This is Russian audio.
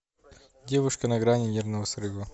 девушка на грани нервного срыва